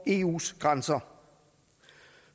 eus grænser